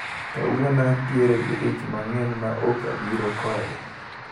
Kawuono antiere gi dich mang`eny maok abiro kode.